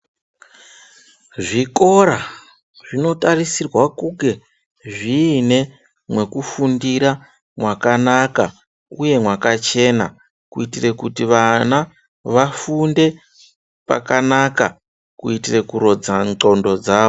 Zvikora zvinotarisirwa kunge zviine mwekufundira mwakanaka uye mwakachena kuitire kuti vana vafunde pakanaka kuitire kurodza ndxondo dzavo.